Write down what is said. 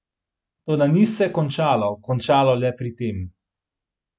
Toda ni se končalo končalo le pri tem.